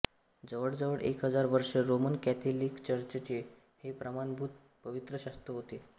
जवळजवळ एक हजार वर्ष रोमन कॅथोलिक चर्चचे हे प्रमाणभूत पवित्र शास्त्र होते